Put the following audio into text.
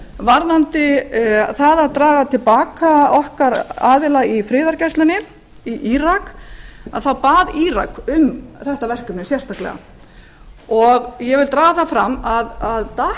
varðandi það að draga til baka okkar aðila í friðargæslunni í írak þá bað írak um þetta verkefni sérstaklega og ég vil draga það fram að að